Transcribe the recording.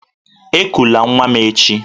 Ekụla nwa m echi!